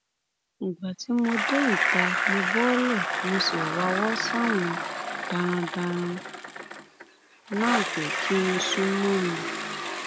ìgbà tí mo dé ìta mo bọọlẹ mo sì wáwọ sáwọn darandaran náà pé kí wọn sún mọ mi